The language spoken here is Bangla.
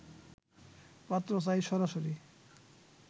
পাত্র চাই সরাসরি